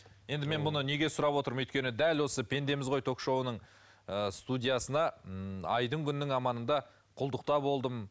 енді мен мұны неге сұрап отырмын өйткені дәл осы пендеміз ғой ток шоуының ы студиясына ммм айдың ммм күннің аманында құлдықта болдым